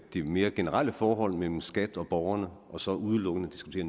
det mere generelle forhold mellem skat og borgerne og så udelukkende diskuterer